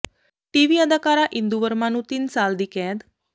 TV ਅਦਾਕਾਰਾ ਇੰਦੂ ਵਰਮਾ ਨੂੰ ਤਿੰਨ ਸਾਲ ਦੀ ਕੈਦ